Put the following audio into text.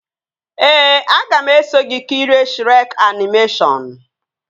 Ee, aga m eso gị kirie Shrek animeshọnu